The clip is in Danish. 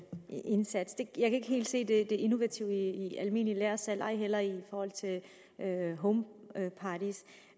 ikke helt se det innovative i almindeligt lagersalg ej heller i forhold til homeparties